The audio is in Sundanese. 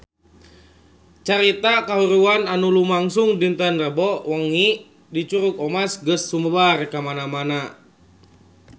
Carita kahuruan anu lumangsung dinten Rebo wengi di Curug Omas geus sumebar kamana-mana